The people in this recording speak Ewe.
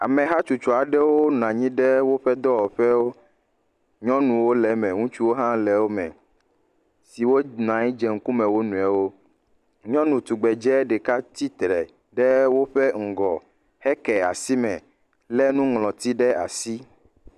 Amehatsotso aɖewo nɔ anyi ɖe woƒe dɔwɔƒewo. Nyɔnuwo le eme ŋutsuwo hã le wo me siwo nɔ anyi dze ŋkume wo nɔewo. Nyɔnu tugbedze ɖeka tsitre ɖe woƒe ŋgɔ heke asime le nuŋlɔti ɖe asi.